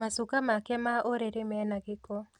Macuka make ma ũrĩrĩ mena gĩko